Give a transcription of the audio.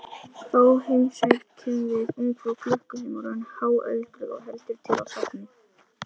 Þá heimsækjum við ungfrú klukku sem orðin er háöldruð og heldur til á safni.